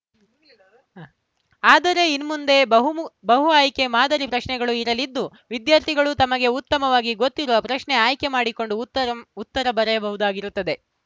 ಆದರೆ ಇನ್ಮುಂದೆ ಬಹುನು ಬಹು ಆಯ್ಕೆ ಮಾದರಿ ಪ್ರಶ್ನೆಗಳು ಇರಲಿದ್ದು ವಿದ್ಯಾರ್ಥಿಗಳು ತಮಗೆ ಉತ್ತಮವಾಗಿ ಗೊತ್ತಿರುವ ಪ್ರಶ್ನೆ ಆಯ್ಕೆ ಮಾಡಿಕೊಂಡು ಉತ್ತರಂ ಉತ್ತರ ಬರೆಯಬಹುದಾಗಿರುತ್ತದೆ